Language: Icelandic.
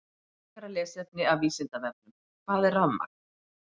Frekara lesefni af Vísindavefnum: Hvað er rafmagn?